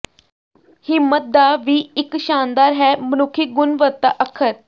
ਹਿੰਮਤ ਦਾ ਵੀ ਇੱਕ ਸ਼ਾਨਦਾਰ ਹੈ ਮਨੁੱਖੀ ਗੁਣਵੱਤਾ ਅੱਖਰ